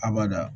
Abada